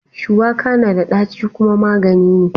Shuwaka na da ɗaci kuma magani ne.